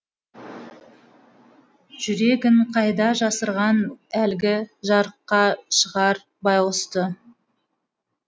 жүрегің қайда жасырған әлгі жарыққа шығар байғұсты